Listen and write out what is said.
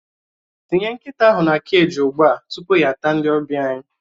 Tinye nkịta ahụ na keji ugbu a tupu ya ata ndị ọbịa anyị!